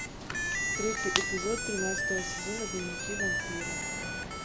третий эпизод тринадцатого сезона дневники вампира